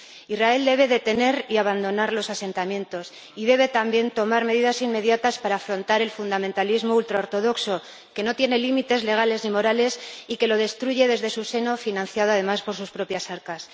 Israel debe detener y abandonar los asentamientos y debe también tomar medidas inmediatas para afrontar el fundamentalismo ultraortodoxo, que no tiene límites legales ni morales y que lo destruye desde su seno financiado además por sus propias arcas.